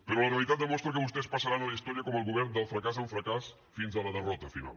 però la realitat demostra que vostès passaran a la història com el govern del fracàs en fracàs fins a la derrota final